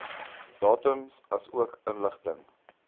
datums asook inligting